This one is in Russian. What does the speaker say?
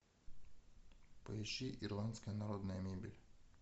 поищи ирландская народная мебель